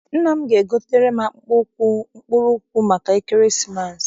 Nna m ga- egotere m akpụkpọ ụkwụ mkpụrụ ụkwụ maka ekeresimesi.